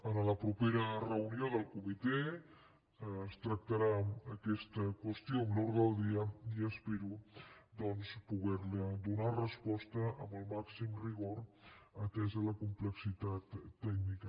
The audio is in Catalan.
en la propera reunió del comitè es tractarà aquesta qüestió en l’ordre del dia i espero doncs poderli donar resposta amb el màxim rigor atesa la complexitat tècnica